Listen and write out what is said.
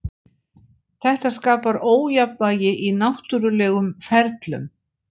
Þetta skapar ójafnvægi í náttúrulegum ferlum.